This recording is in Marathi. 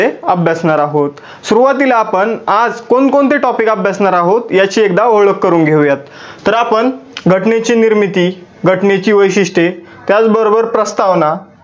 अभ्यासणार आहोत. सुरुवातीला आपण आज कोण कोणते topic अभ्यासणार आहोत याची एकदा ओळख करून घेऊया. तर आपण घटनेची निर्मिती, घटनेची वैशिष्ठ्ये, त्याच बरोबर प्रस्तावना